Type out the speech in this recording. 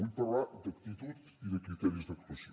vull parlar d’actitud i de criteris d’actuació